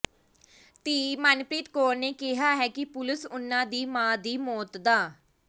ਧੀ ਮਨਪ੍ਰੀਤ ਕੌਰ ਨੇ ਕਿਹਾ ਹੈ ਕਿ ਪੁਲਸ ਉਨ੍ਹਾਂ ਦੀ ਮਾਂ ਦੀ ਮੌਤ ਦਾ